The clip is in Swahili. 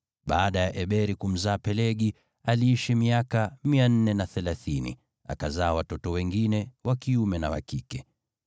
Baada ya Eberi kumzaa Pelegi, aliishi miaka 430, akazaa watoto wengine wa kiume na wa kike.